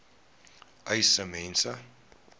uys sê mense